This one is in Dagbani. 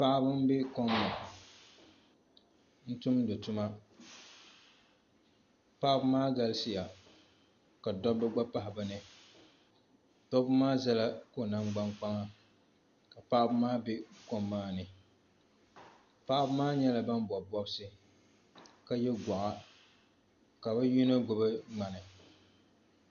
Paɣaba n bɛ kom ni n tumdi tuma paɣaba maa galisiya ka dabba gba pahi bi ni dabba maa ʒɛla ko nangbani kpaŋa ka paɣaba maa bɛ kom maa ni paɣaba maa nyɛla ban bob bobsi ka yɛ goɣa ka bi yino gbubi ŋmani